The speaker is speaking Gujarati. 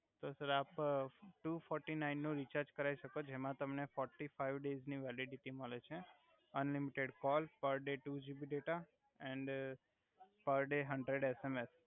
તો સર આપ ટુ ફોરટી ફાઇવ રુપિસ નુ રીચાર્જ કરાવી સકો જેમા તમારે ફોર્ટી ફાઈવ ડેય્સ ની વેલિડીટી મલે છે unlimited call per day two GB data and per day hundred SMS